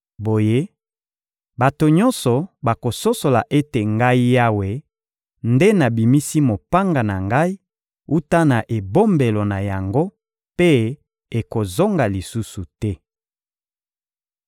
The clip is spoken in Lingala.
Boye, bato nyonso bakososola ete Ngai Yawe nde nabimisi mopanga na Ngai wuta na ebombelo na yango, mpe ekozonga lisusu te.›